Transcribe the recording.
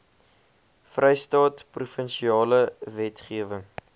vrystaat provinsiale wetgewer